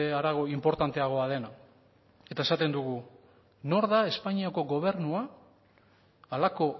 harago inportanteagoa dena eta esaten dugu nor da espainiako gobernua halako